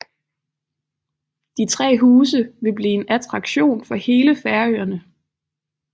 De tre huse vil blive en attraktion for hele Færøerne